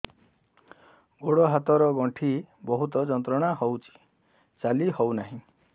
ଗୋଡ଼ ହାତ ର ଗଣ୍ଠି ବହୁତ ଯନ୍ତ୍ରଣା ହଉଛି ଚାଲି ହଉନାହିଁ